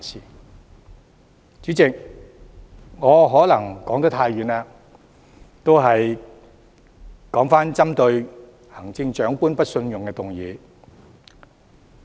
代理主席，我可能說得太遠，現在回到針對行政長官提出的不信任議案。